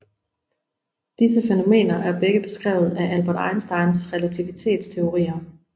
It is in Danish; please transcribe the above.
Disse fænomener er begge beskrevet af Albert Einsteins relativitets teorier